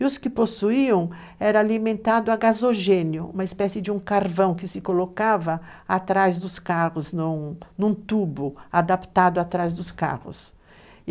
E os que possuíam era alimentado a gasogênio, uma espécie de um carvão que se colocava atrás dos carros, num tubo adaptado atrás dos carros.